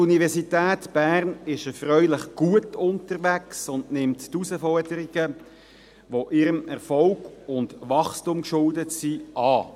Die Universität Bern ist erfreulich gut unterwegs und nimmt die Herausforderungen, die ihrem Erfolg und Wachstum geschuldet sind, an.